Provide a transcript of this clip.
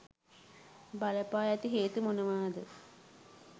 බලපා ඇති හේතු මොනවද?